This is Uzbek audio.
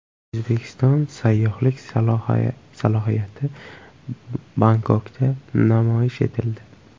O‘zbekiston sayyohlik salohiyati Bangkokda namoyish etildi.